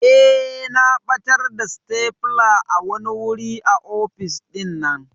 Eh na ɓatar da stapler a wani wuri a office ɗinnan.